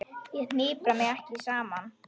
Ég hnipra mig ekki saman.